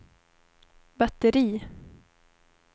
batteri